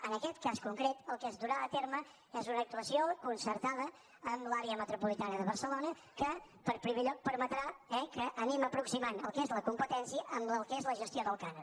en aquest cas concret el que es durà a terme és una actuació concertada amb l’àrea metropolitana de barcelona que en primer lloc permetrà eh que anem aproximant el que és la competència al que és la gestió del cànon